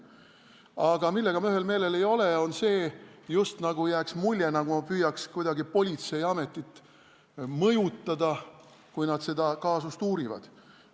Aga milles ma ühel meelel ei ole, on see, et jääb mulje, nagu ma püüaks kuidagi mõjutada politseiametit, kui nad seda kaasust uurivad.